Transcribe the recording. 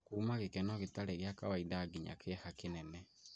kuuma gĩkeno gĩtarĩ gĩa kawaida nginya kĩeha kĩnene.